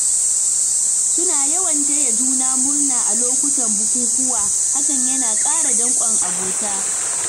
Suna yawan taya juna murna a lokutan bukukkuwa, hakan yana ƙara dankon abota.